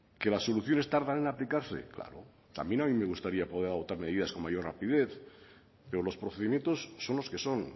que las soluciones tardan en aplicarse claro a mí también me gustaría poder adoptar medidas con mayor rapidez pero los procedimientos son los que son